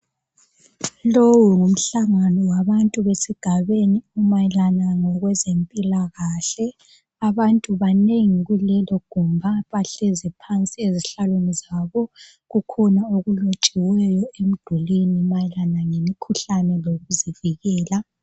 Lowu ngumhlangano wabantu besigabeni mayelana ngokwezempila kahle abantu banengi kulelo gumba bahlezi phansi ezihlalweni zabo kukhona okulotshiweyo emdulini mayelana ngemikhuhlane lokuzivikela.